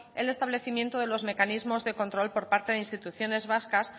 el establecimiento de los mecanismos de control por parte de instituciones vascas